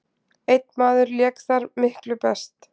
Einn maður lék þar miklu best.